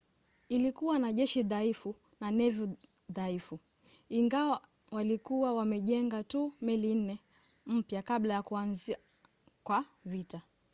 ilikuwa na jeshi dhaifu na nevi dhaifu ingawa walikuwa wamejenga tu meli nne mpya kabla ya kuanza kwa vita